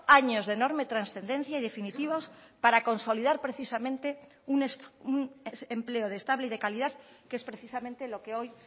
años de enorme trascendencia y definitivos para consolidar precisamente un empleo estable y de calidad que es precisamente lo que hoy